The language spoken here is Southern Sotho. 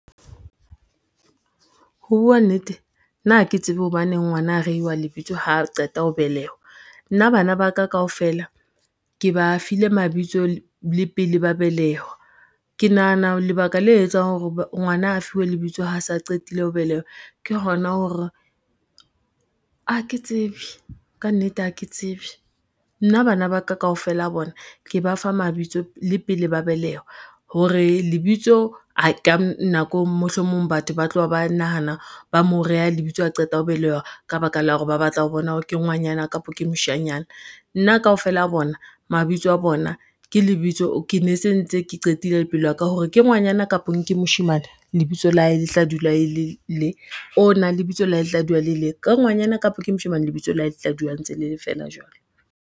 Ho bua nnete, nna ha ke tsebe hobaneng ngwana a rewa lebitso ha qeta ho belehwa. Nna bana ba ka kaofela, ke ba file mabitso le pele ba belehwa. Ke nahana lebaka le etsang hore ngwana a fuwe lebitso ha se a qetile ho belehwa, ke hona hore, ha ke tsebe ka nnete ha ke tsebe. Nna bana ba ka kaofela bona ke ba fa mabitso le pele ba belehwa, hore lebitso mohlomong batho ba tloha, ba nahana ba mo reha lebitso a qeta ho belehwa ka baka la hore ba batla ho bona hore ke ngwanyana kapa ke moshanyana, nna kaofela a bona mabitso a bona ke lebitso, ke ne se ntse ke qetile le pelo ya ka hore ke ngwanyana kapo ke moshemane, lebitso la hae le tla dula le le, o na lebitso la hae le tla dula le le ke ngwanyana kapo ke moshemane, lebitso la hae le tla dula ntse le le feela jwalo.